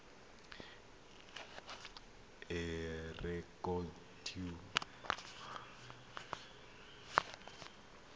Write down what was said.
e rekotiwe mo rejisetareng ya